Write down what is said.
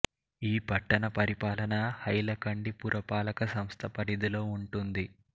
ఈ పట్టణ పరిపాలన హైలకండి పురపాలక సంస్థ పరిధిలో ఉంటుంది